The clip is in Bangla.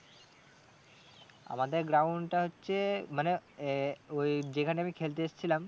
আমাদের ground টা হচ্ছে মানে আহ ওই যেখানে আমি খেলতে এসছিলাম